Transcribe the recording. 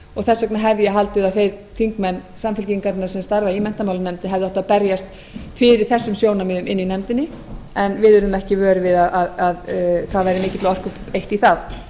þess vegna hefði ég haldið að þeir þingmenn samfylkingarinnar sem starfa í menntamálanefnd hefðu átt að berjast fyrir þessum sjónarmiðum inni í nefndinni en við urðum ekki vör við að það væri